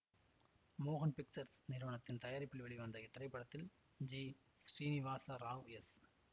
மோகன் பிக்சர்ஸ் நிறுவனத்தின் தயாரிப்பில் வெளிவந்த இத்திரைப்படத்தில் ஜி ஸ்ரீநிவாச ராவ் எஸ்